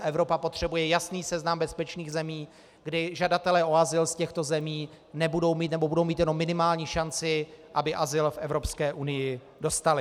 A Evropa potřebuje jasný seznam bezpečných zemí, kdy žadatelé o azyl z těchto zemí nebudou mít, nebo budou mít jenom minimální šanci, aby azyl v Evropské unii dostali.